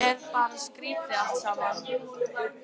Þetta er bara skrítið allt saman.